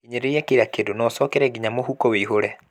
Hinyĩrĩria kila kĩndũ na ũcokere nginya mũhuko ũihũre